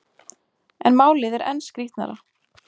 En málið er enn skrýtnara.